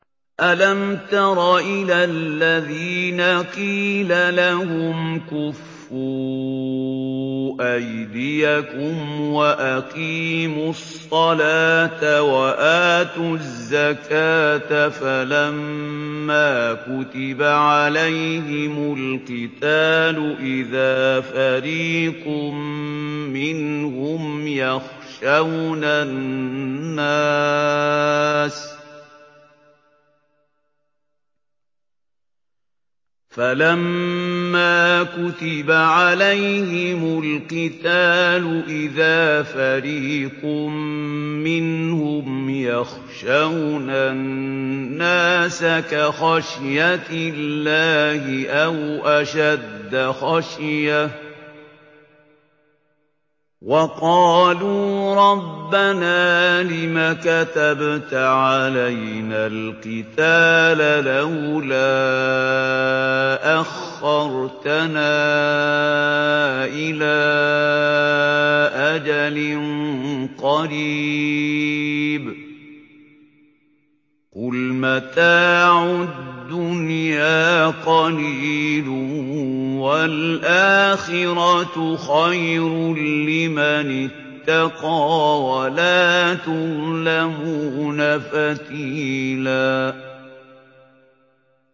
أَلَمْ تَرَ إِلَى الَّذِينَ قِيلَ لَهُمْ كُفُّوا أَيْدِيَكُمْ وَأَقِيمُوا الصَّلَاةَ وَآتُوا الزَّكَاةَ فَلَمَّا كُتِبَ عَلَيْهِمُ الْقِتَالُ إِذَا فَرِيقٌ مِّنْهُمْ يَخْشَوْنَ النَّاسَ كَخَشْيَةِ اللَّهِ أَوْ أَشَدَّ خَشْيَةً ۚ وَقَالُوا رَبَّنَا لِمَ كَتَبْتَ عَلَيْنَا الْقِتَالَ لَوْلَا أَخَّرْتَنَا إِلَىٰ أَجَلٍ قَرِيبٍ ۗ قُلْ مَتَاعُ الدُّنْيَا قَلِيلٌ وَالْآخِرَةُ خَيْرٌ لِّمَنِ اتَّقَىٰ وَلَا تُظْلَمُونَ فَتِيلًا